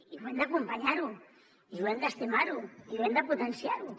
i hem d’acompanyar ho i hem d’estimar ho i hem de potenciar ho